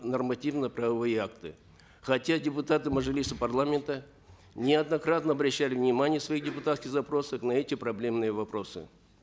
нормативно правовые акты хотя депутаты мажилиса парламента неоднократно обращали внимание в своих депутатских запросах на эти проблемные вопросы